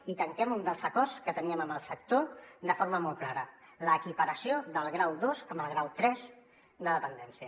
i tanquem un dels acords que teníem amb el sector de forma molt clara l’equiparació del grau dos amb el grau tres de dependència